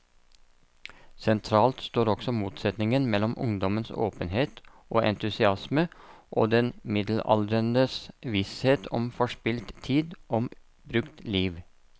Sentralt står også motsetningen mellom ungdommens åpenhet og entusiasme og den middelaldrendes visshet om forspilt tid, om brukt liv.